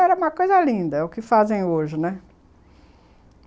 Era uma coisa linda, é o que fazem hoje, né?